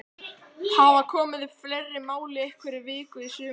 Hafa komið upp fleiri mál í einhverri viku í sumar?